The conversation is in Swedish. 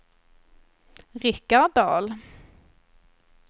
Richard Dahl